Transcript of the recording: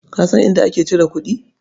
Ka san inda ake cire kuɗi?